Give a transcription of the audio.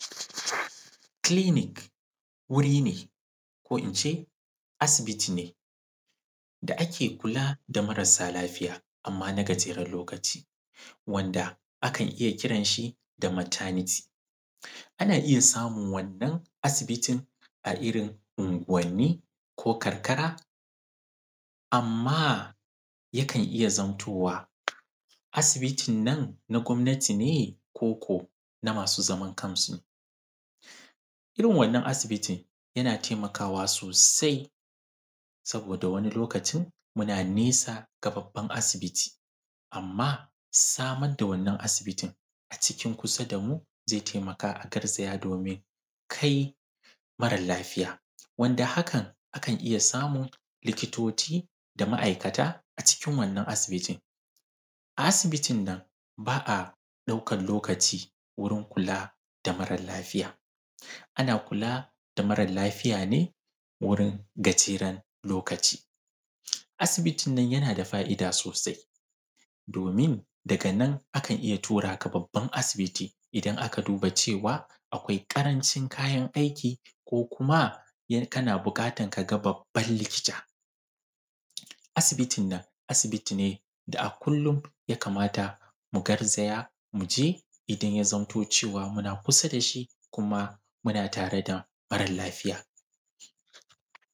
Kilinik wuri ne ko in ce asibiti ne da ake kula da marasa lafiya amma na gajeren lokaci wanda akan iya kiran shi da mataniti ana iya samun wannan asibitin a irin ungwanni ko karkara amma yakan iya zamtowa asibitin nan na gwamnati ne ko ko na masu zaman kansu irin wannan asibitin yana taimakawa sosai domin wanni lokaci muna nesa ga babban asibiti amma samar da wannan asibitin a cikin kusa da mu ze taimaƙa a garzaya domin kai mara lafiya wanda hakan akan iya samun likatoci da ma’aikata a cikin wannan asibitin a asibitin nan ba a ɗaukan lokaci wurin kula ga mara lafiya ana kula da mara lafiya ne wurin gajeren lokaci, asibitin nan yana da fa’ida sosai domin daga nan akan iya tura ka babban asibiti idan aka lura cewa akwai ƙarancin kayan aiki ko kuma in kana buƙatan ka ga babban likita asibitin nan asibiti ne da kullum ya kamata mu garzaya mu je idan ya zamto cewa muna kusa da shi kuma muna tare da mara lafiya.